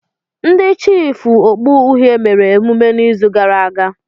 Ndị chiịfụ okpu uhie mere emume n'izu gara aga.